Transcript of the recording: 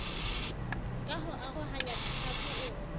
ka ho arohanya ditlhaku o